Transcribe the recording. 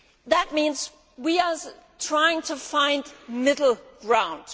That means we are trying to find middle ground.